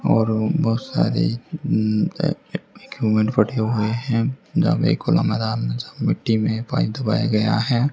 और बहोत सारे पड़े हुए हैं जहां पे एक खुला मैदान में जहा मिट्टी में पाइप दबाया गया है।